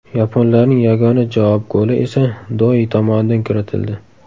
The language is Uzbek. Yaponlarning yagona javob goli esa Doi tomonidan kiritildi.